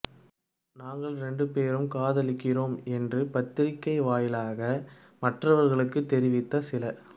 நாங்க ரெண்டு பெரும் காதலிக்கிறோம் என்று பத்திரிக்கையின் வாயிலாக மற்றவர்களுக்கு தெரிவித்த சில